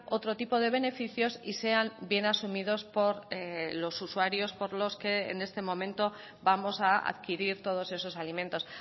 otro tipo de beneficios y sean bien asumidos por los usuarios por los que en este momento vamos a adquirir todos esos alimentos